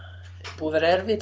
búið að vera erfitt